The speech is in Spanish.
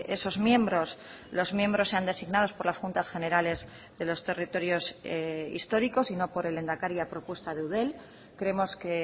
esos miembros los miembros sean designados por las juntas generales de los territorios históricos y no por el lehendakari a propuesta de eudel creemos que